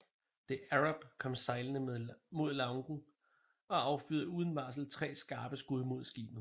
The Arab kom sejlende mod Lougen og affyrede uden forvarsel tre skarpe skud mod skibet